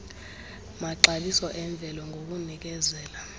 maxabiso emvelo ngokunikeza